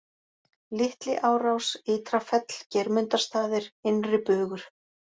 Litli-Árás, Ytra Fell, Geirmundarstaðir, Innri-Bugur